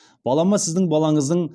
балама сіздің балаңыздың